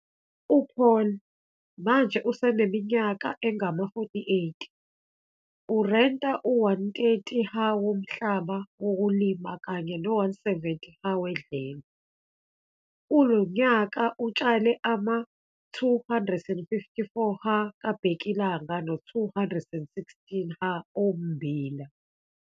U-Paul, manje useneminyaka engama-48, urenta u-130 ha womhlaba wokulima kanye no-170 ha wedlelo. Kulo nyaka utshale ama-254 ha kabhekilanga no-216 ha ommbila.